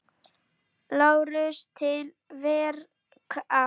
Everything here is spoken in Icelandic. LÁRUS: Til verka!